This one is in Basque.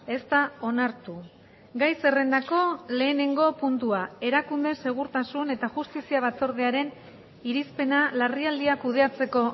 ez da onartu gai zerrendako lehenengo puntua erakunde segurtasun eta justizia batzordearen irizpena larrialdiak kudeatzeko